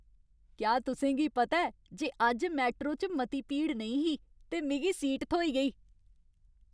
क्या तुसें गी पता ऐ जे अज्ज मैट्रो च मती भीड़ नेईं ही ते मिगी सीट थ्होई गेई?